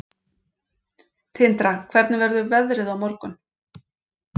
Tindra, hvernig verður veðrið á morgun?